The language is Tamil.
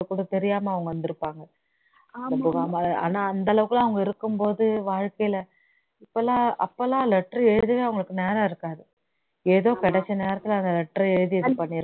அப்போ கூட தெரியாம அவங்க வந்திருப்பாங்க ஆனா அந்த அளவுக்குலாம் அவங்க இருக்கும் போது வாழ்கையில அப்போலாம் அப்போலாம் letter எழுதவே அவங்களுக்கு நேரம் இருக்காது